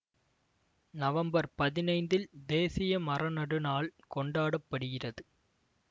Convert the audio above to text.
November பதினைந்தில் தேசிய மர நடுநாள் கொண்டாட படுகிறது